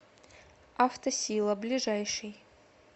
автосила ближайший